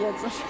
Davam eləyəcək.